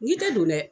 N'i tɛ don dɛ